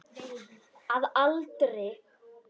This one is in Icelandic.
Að aldrei.